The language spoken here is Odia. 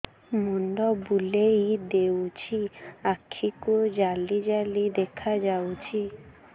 ମୁଣ୍ଡ ବୁଲେଇ ଦେଉଛି ଆଖି କୁ ଜାଲି ଜାଲି ଦେଖା ଯାଉଛି